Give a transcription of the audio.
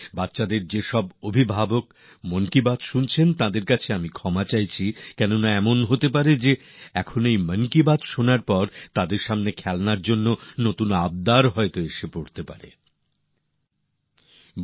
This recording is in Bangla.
এমনিতে আমি মন কি বাত শুনতে থাকা শিশুদের মাবাবাদের কাছে ক্ষমা চেয়ে নিচ্ছি কেন না এমনও হতে পারে হয়তো মন কি বাত শোনার পর খেলনার জন্য নতুন নতুন চাহিদা বা বায়নাক্কা শোনার এক নতুন কাজ এসে জুটবে